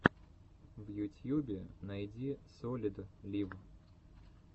в ютьюбе найди солид лив